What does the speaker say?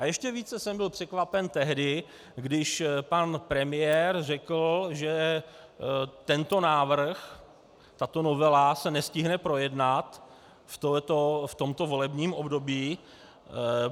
A ještě více jsem byl překvapen tehdy, když pan premiér řekl, že tento návrh, tato novela se nestihne projednat v tomto volebním období.